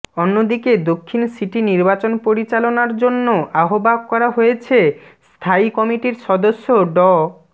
অন্যদিকে দক্ষিণ সিটি নির্বাচন পরিচালনার জন্য আহ্বায়ক করা হয়েছে স্থায়ী কমিটির সদস্য ড